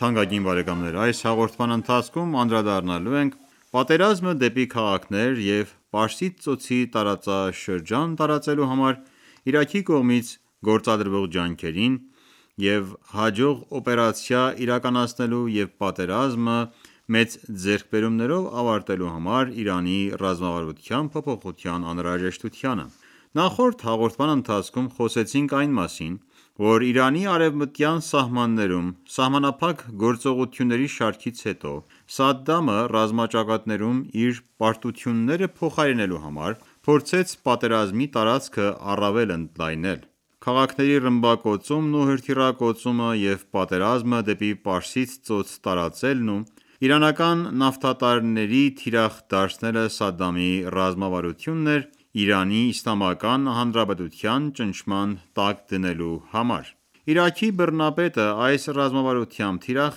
թանկագին բարեկամներ: Այս հաղորդման ընթացքում անդրադառնալու ենք պատերազմը դեպի քաղաքներ և Պարսից Ծոցի տարածաշրջան տարածելու համար Իրաքի կողմից գործադրվող ջանքերին և հաջող օպերացիա իրականացնելու և պատերազմը մեծ ձեռքբերումներով ավարտելու համար Իրանի ռազմավարության փոփոխության անհրաժեշտությանը: Նախորդ հաղորդման ընթացքում խոսեցինք այն մասին, որ Իրանի արևմտյան սահմաններում սահմանափակ գործողությունների շարքից հետո, Սադդամը ռազմաճակատներում իր պարտությունները փոխարինելու համար փորձեց պատերազմի տարածքը առավել ընդլայնել: Քաղաքների ռմբակոծումն ու հրթիռակոծումը և պատերազմը դեպի Պարսից Ծոց տարածելն ու իրանական նավթատարների թիրախ դարձնելը Սադդամի ռազմավարությունն էր ԻԻՀ-ին ճնշման տակ դնելու համար: Իրաքի բռնապետը այս ռազմավարությամբ թիրախ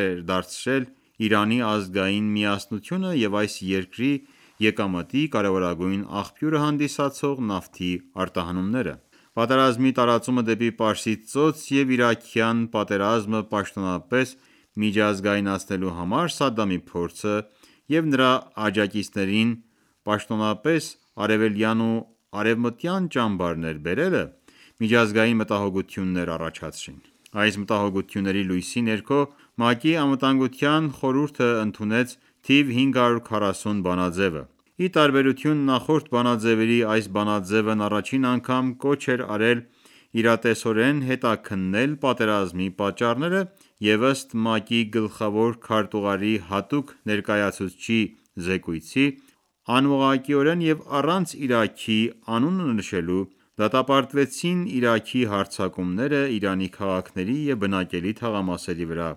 էր դարձրել Իրանի ազգային միասնությունը և այս երկրի եկամտի կարևորագույն աղբյուրը հանդիսացող նավթի արտահանումները: Պատերազմի տարածումը դեպի Պարսից ծոց և իրաքյան պատերազմը պաշտոնապես միջազգայնացնելու համար Սադամի փորձը և նրա աջակիցներին պաշտոնպես արևելյան ու արևմտյան ճամբարներ բերելը, միջազգային մտահոգություններ առաջացրին: Այս մտահոգությունների լույսի ներքո ՄԱԿ-ի Անվտանգության խորհուրդն ընդունեց 540 բանաձեւը։ Ի տարբերություն նախորդ բանաձևերի, այս բանաձևն առաջին անգամ կոչ է արել իրատեսորեն հետաքննել պատերազմի պատճառները և ըստ ՄԱԿ-ի Գլխավոր քարտուղարի հատուկ ներկայացուցիչների զեկույցի, անուղղակիորեն և առանց Իրաքի անունը նշելու դատապարտվեցին Իրաքի հարձակումները Իրանի քաղաքների և բնակելի թաղամասերի վրա,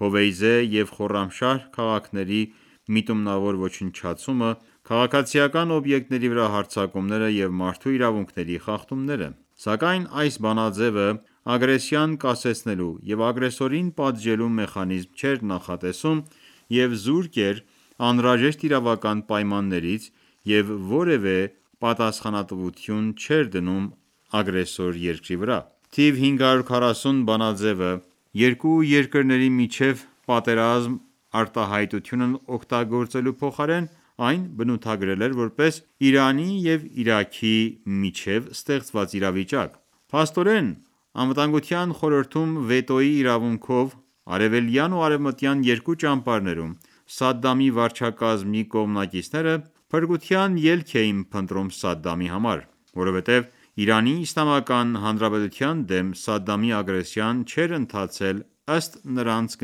Հովեյզե և Խորամշահր քաղաքների միտումնավոր ոչնչացումը, քաղաքացիական օբյեկտների վրա հարձակումները և մարդու իրավունքների խախտումները։ Սակայն այս բանաձեւը ագրեսիան կասեցնելու եւ ագրեսորին պատժելու մեխանիզմ չէր նախատեսում, եւ զուրկ էր անհրաժեշտ իրավական պայմաններից եւ որեւէ պատասխանատվություն չէր դնում ագրեսոր երկրի վրա։ Թիվ 540 բանաձեւը «երկու երկրների միջեւ պատերազմ» արտահայտությունն օգտագործելու փոխարեն այն բնութագրել էր որպես «Իրանի եւ Իրաքի միջեւ ստեղծված իրավիճակ»։ Փաստորեն, ԱԽ-ում վետոյի իրավունքով արևելյան ու արևմտյան երկու ճամբարներում Սադամի վարչակարգի կողմնակիցները, փրկության ելք էին փնտրում Սադամի համար: Որովհետև ԻԻՀ-ի դեմ Սադամի ագրեսիան չէր ընթացել ըստ նրանց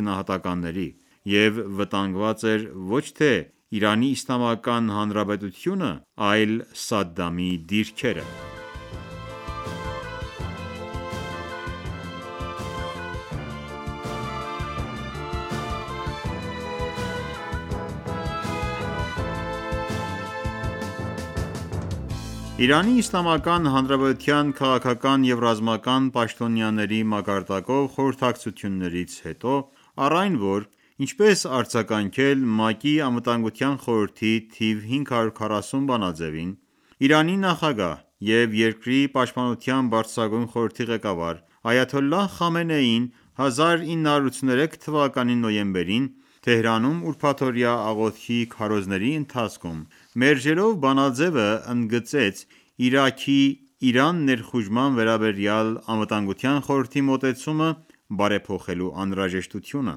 գնահատականների, և վտանգված էր ոչ թե ԻԻՀ-ի, այլ Սադամի դիրքերը։ Իրանի Իսլամական Հանրապետության քաղաքական և ռազմական պաշտոնյաների մակարդակով խորհրդակցություններից հետո, առ այն, որ ինչպես արձագանքել ՄԱԿ-ի ԱԽ-ի թիվ 540 բանաձևին, Իրանի նախագահ և երկրի Պաշտպանության բարձրագույն խորհրդի ղեկավար՝ Այաթոլլահ Խամենեին 1983թ. նոյեմբերին Թեհրանում ուրբաթօրյա աղոթքի քարոզների ընթացքում մերժելով բանաձեւը՝ ընդգծեց Իրաքի Իրան ներխուժման վերաբերյալ ԱԽ-ի մոտեցումը բարեփոխելու անհրաժեշտությունը։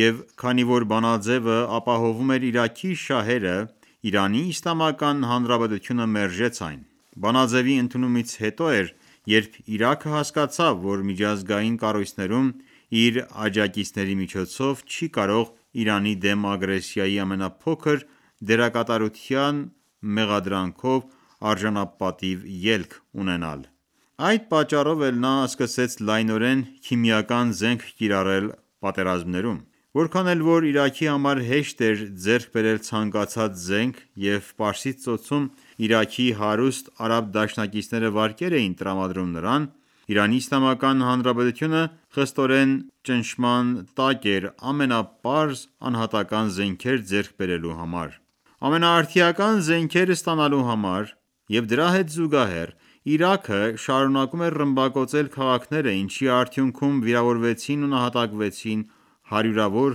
Եվ քանի որ բանաձևը ապահովում էր Իրաքի շահերը ԻԻՀ-ն մերժեց այն: Բանաձեւի ընդունումից հետո էր, երբ Իրաքը հասկացավ, որ միջազգային կառույցներում իր աջակիցների միջոցով չի կարող Իրանի դեմ ագրեսիայի ամենափոքր դերակատարության մեղադրանքով արժանապատիվ ելք ունենալ։ Այդ պատճառով էլ նա սկսեց լայնորեն քիմիական զենք կիրառել պատերազմներում։ Որքան էլ որ Իրաքի համար հեշտ էր ձեռք բերել ցանկացած զենք և Պարսից ծոցում Իրաքի հարուստ արաբ դաշնակիցները վարկեր էին տրամադրում նրան, ԻԻՀ-ն խստորեն ճնշման տակ էր ամենապարզ անհատական ​​զենքեր ձեռք բերելու համար: Ամենաարդիական զենքերն ստանալու հետ զուգահեռ Իրաքը շարունակում էր ռմբակոծել քաղաքները ինչի արդյունքում վիրավորվեցին ու նահատակվեցին հարյուրավոր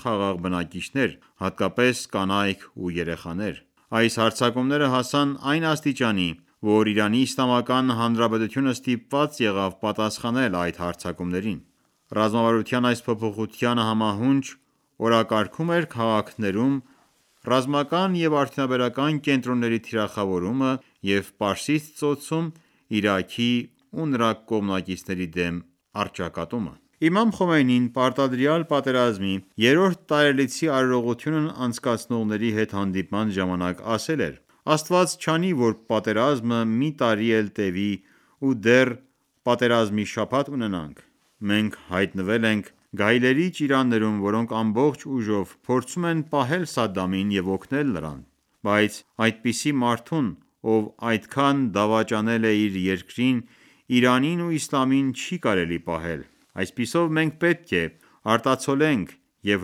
խաղաղ բնակիչներ, հատկապես կանայք ու երեխաներ: Այս հարձակումները հասան այն աստիճանի, որ ԻԻՀ-ն ստիպված եղավ պատասխանել այդ հարձակումներին։ Ռազմավարության այս փոփոխությանը համահունչ օրակարգում էր քաղաքներում ռազմական և արդյունաբերական կենտրոնների թիրախավորումը և Պարսից Ծոցում Իրաքի ու նրա կողմնակիցների դեմ առճակատումը: Բաասական ռեժիմի կողմից Իրանի քաղաքների քիմիական ռմբակոծումը Իմամ Խոմեյնին պարտադրյալ պատերազմի երրորդ տարելիցի արարողությունն անցնակցնողների հետ հանդիպման ժամանակ ասել էր.« Աստված չանի, որ պատերազմը մի տարի էլ տեւի ու դեռ «պատերազմի շաբաթ» ունենանք։ Մենք հայտնվել ենք գայլերի ճիրաններում, որոնք ամբողջ ուժով փորձում են պահել Սադամին և օգնել նրան, բայց այդպիսի մարդուն, ով այդքան դավաճանել է իր երկրին, Իրանին ու իսլամին, չի կարելի պահել:.... Այսպիսով, մենք պետք է արտացոլենք և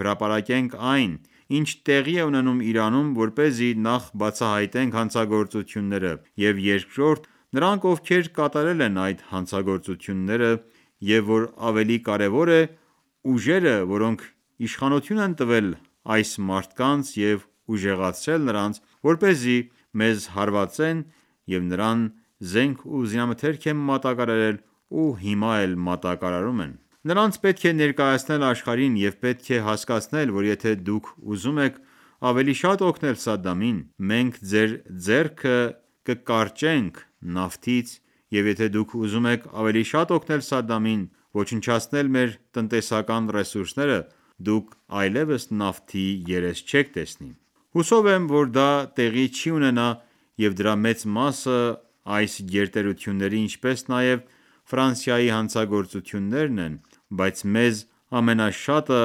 հրապարակենք այն, ինչ տեղի է ունենում Իրանում, որպեսզի նախ բացահայտվեն հանցագործությունները, և երկրորդ՝ նրանք, ովքեր կատարել են այդ հանցագործությունները, և որ ավելի կարևոր է, ուժերը, որոնք իշխանություն են տվել այս մարդկանց և ուժեղացրել նրանց, որպեսզի մեզ հարվածեն, և նրան զենք ու զինամթերք են մատակարարել ու հիմա էլ մատակարարում են: Նրանց պետք է ներկայացնել աշխարհին, և պետք է հասկացնել, որ եթե դուք ուզում եք ավելի շատ օգնել Սադամին, մենք ձեր ձեռքը կկարճենք նավթից, և եթե դուք ուզում եք ավելի շատ օգնել Սադամին ոչնչացնել մեր տնտեսական ռեսուրսները, դուք այլևս նավթի երես չեք տեսնի:.... Հուսով եմ, որ դա տեղի չի ունենա, և դրա մեծ մասը այս գերտերությունների, ինչպես նաև Ֆրանսիայի հանցագործություններն են, բայց մեզ ամենաշատը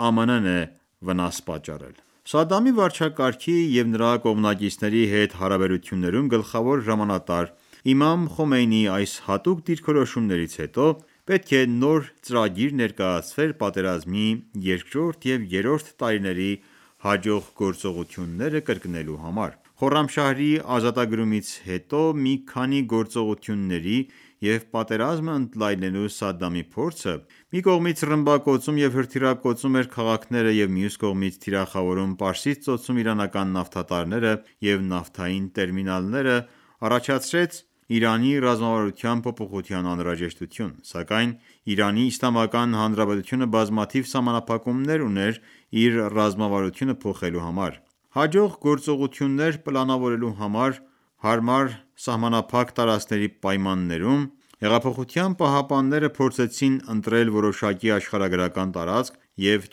ԱՄՆ-ն է վնաս պատճառել»: Սադամի վարչակարգի և նրա կողմնակիցների հետ հարաբերություններում գլխավոր հրամանատար Իմամ Խոմեյնիի այս հստակ դիրքորոշումներից հետո պետք է նոր ծրագիր ներկայացվեր պատերազմի երկրորդ և երրորդ տարիների հաջող գործողությունները կրկնելու համար։ Խորամշահրի ազատագրումից հետո մի քանի գործողությունների և պատերազմը ընդլայնելու Սադամի փորձը, որ մի կողմից ռմբակոծում և հրթիռակոծում էր քաղաքները և մյուս կողմից՝ թիրախավում Պարսից Ծոցում իրանական նավթատարները և նավթային տերմինալները, առաջացրեց Իրանի ռազմավարության փոփոխության անհրաժեշտություն: Սակայն Իրանի Իսլամական Հանրապետությունը բազմաթիվ սահմանափակումներ ուներ իր ռազմավարությունը փոխելու համար: Հաջող գործողություններ պլանավորելու համար հարմար սահմանափակ տարածքների պայմաններում Հեղափոխության պահապանները փորձեցին ընտրել որոշակի աշխարհագրական տարածք և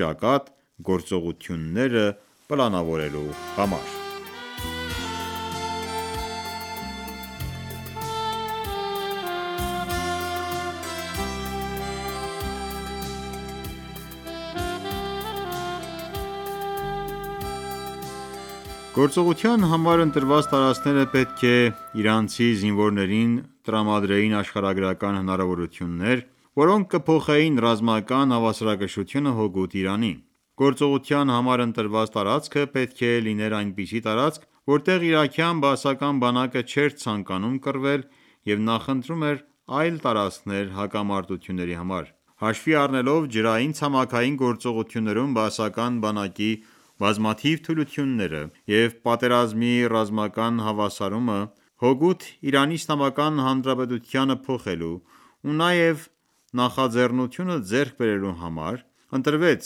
ճակատ՝ գործողություններ պլանավորելու համար։ Գործողության համար ընտրված տարածքները պետք է իրանցի զինվորներին տրամադրեին աշխարհագրական հնարավորություններ, որոնք կփոխեին ռազմական հավասարակշռությունը հօգուտ Իրանի։ Գործողության համար ընտրված տարածքը պետք է լիներ այնպիսի տարածք, որտեղ իրաքյան բաասական բանակը չէր ցանկանում կռվել և նախընտրում էր այլ տարածքներ հակամարտությունների համար: Հաշվի առնելով ջրային-ցամաքային գործողություններում բաասական բանակի բազմաթիվ թուլությունները և պատերազմի ռազմական հավասարումը հօգուտ ԻԻՀ-ի փոփոխելու ու նաև նախաձեռնություն ձեռք բերելու համար, ընտրվեց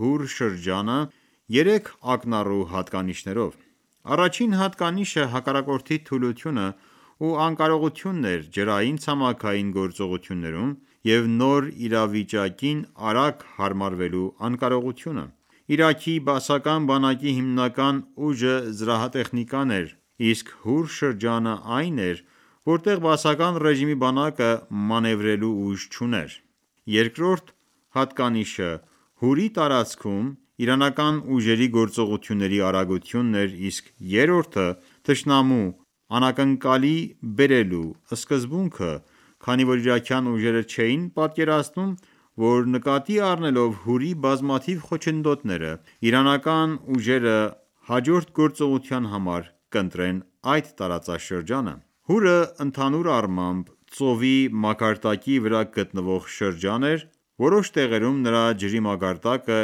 Հուր շրջանը՝ երեք ակնառու հատկանիշներով: Առաջին հատկանիշը հակառակորդի թուլությունն ու անկարողությունն էր ջրային-ցամաքային գործողություններում և նոր իրավիճակին արագ հարմարվելու անկարողությունը։ Իրաքի բաասական բանակի հիմնական ուժը զրահատեխնիկան էր, իսկ Հուր շրջանն այն էր, որտեղ Բաասական ռեժիմի բանակը մանևրելու ուժ չուներ: Երկրորդ հատկանիշը Հուրի տարածքում իրանական ուժերի գործողությունների արագությունն էր, իսկ երրորդը` թշնամուն անակնկալի բերելու սկզբունքը, քանի որ իրաքյան ուժերը չէին պատկերացնում, որ նկատի առնելով Հուրի բազմաթիվ խոչընդոտները իրանական ուժերը հաջորդ գործողության համար կընտրեն այդ տարածաշրջանը: Հուրը ընդհանուր առմամբ ծովի մակարդակի վրա գտնվող շրջան է, որոշ տեղերում նրա ջրի մակարդակը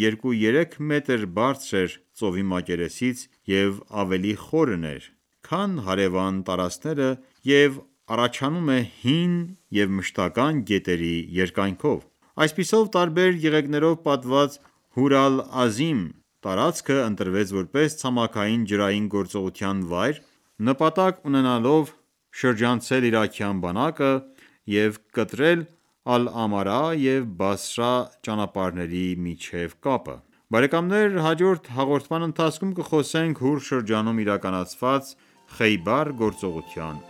երկու-երեք մետր բարձր է ծովի մակերեսից և ավելի խորն է, քան հարևան տարածքները և առաջանում է հին և մշտական ​​գետերի երկայնքով: Այսպիսով, տարբեր եղեգներով պատված Հուր Ալ-Ազիմ տարածքը ընտրվեց որպես ցամաքային-ջրային գործողության վայր՝ նպատակ ունենալով շրջանցել իրաքյան բանակը և կտրել Ալ-Ամարայի և Բասրա ճանապարհների միջև կապը։ Հաջորդ հաղորդման ընթացքում կխոսենք Հուր շրջանում իրականացված Խեյբար գործողության